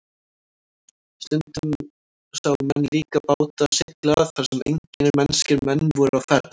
Og stundum sáu menn líka báta sigla þar sem engir mennskir menn voru á ferð.